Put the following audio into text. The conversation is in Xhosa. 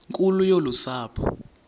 nkulu yolu sapho